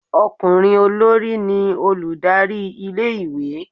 okunrin olorí ni olùdarí ilé ìwé